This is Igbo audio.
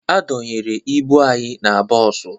A dọnyere ibu anyị na bọọsụ